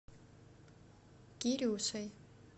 кирюшей